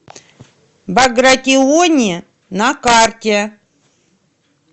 багратиони на карте